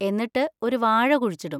എന്നിട്ട് ഒരു വാഴ കുഴിച്ചിടും.